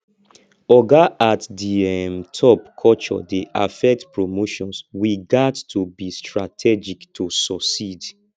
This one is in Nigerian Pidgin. oga at the um top culture dey affect promotions we gats to be strategic to succeed